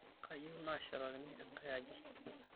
Keyieu neshetakini enkae aji.